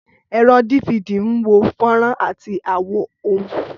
Ẹ̀rọ DVD ń wo fọ́nrán àti àwo ohùn.